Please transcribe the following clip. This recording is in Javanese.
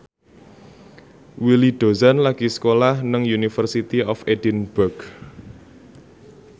Willy Dozan lagi sekolah nang University of Edinburgh